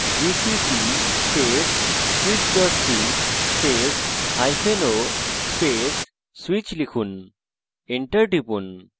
gcc space switch c spaceo space switch লিখুন enter টিপুন